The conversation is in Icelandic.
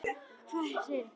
Er einhver heima?